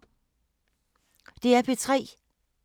DR P3